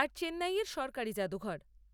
আর চেন্নাই এর সরকারি জাদুঘর।